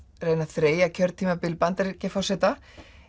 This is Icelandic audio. reyna að þreyja kjörtímabil Bandaríkjaforseta